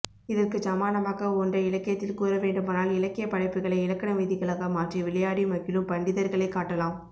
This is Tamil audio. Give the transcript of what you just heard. இதற்குச் சமானமாக ஒன்றை இலக்கியத்தில் கூறவேண்டுமானால் இலக்கியப் படைப்புக்களை இலக்கண விதிகளாக மாற்றி விளையாடி மகிழும் பண்டிதர்களைக் காட்டலாம்